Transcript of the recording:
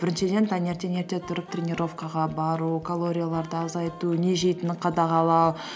біріншіден таңертең ерте тұрып тренировкаға бару калорияларды азайту не жейтінін қадағалау